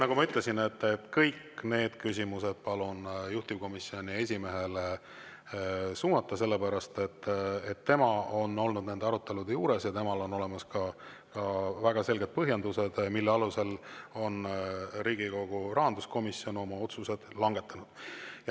Nagu ma ütlesin, kõik need küsimused palun juhtivkomisjoni esimehele suunata, sellepärast et tema on olnud nende arutelude juures ja temal on olemas ka väga selged põhjendused, mille alusel on Riigikogu rahanduskomisjon oma otsused langetanud.